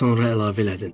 Az sonra əlavə elədin.